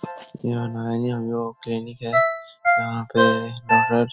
यहाँ क्लिनिक है। यहाँ पे डॉक्टर --